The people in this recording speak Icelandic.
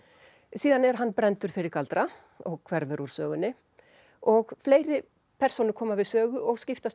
síðan er hann brenndur fyrir galdra og hverfur úr sögunni og fleiri persónur koma við sögu og skiptast